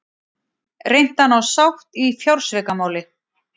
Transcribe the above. Reynt að ná sátt í fjársvikamáli